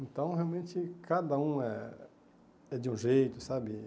Então, realmente, cada um é é de um jeito, sabe?